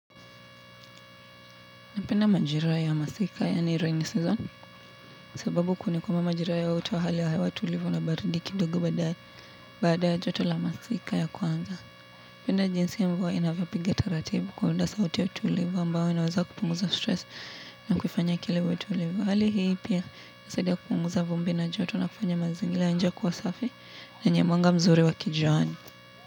Napenda majira ya masika, yaani 'rainy season', sababu kuni kuma majira haya hutoa hali ya hewa tulivu na baridi kidogo baada ya, baada ya joto la masika ya kwanza. Napenda jinsi hio mvua inavyopiga taratibu kuunda sauti ya utulivu ambayo inaweza kupunguza 'stress'. Na kufanya akili iwe tulivu. Hali hii pia, inasaidia kupunguza vumbi na joto na kufanya mazingira ya nje kuwa safi na yenye mwanga mzuri wa kijuani.